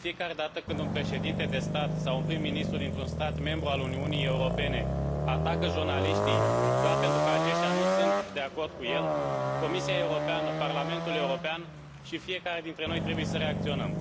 De fiecare dată când un președinte de stat sau un prim ministru dintr un stat membru al Uniunii Europene atacă jurnaliștii, doar pentru că aceștia nu sunt de acord cu el, Comisia Europeană, Parlamentul European și fiecare dintre noi trebuie să reacționăm.